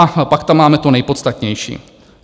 A pak tam máme to nejpodstatnější.